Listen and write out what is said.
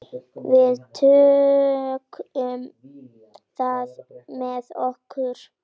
Við tökum það með okkur.